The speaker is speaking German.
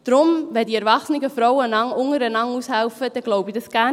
Dass die erwachsenen Frauen einander gegenseitig aushelfen, glaube ich gerne.